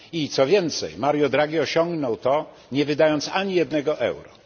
Co więcej, Mario Draghi osiągnął to nie wydając ani jednego euro.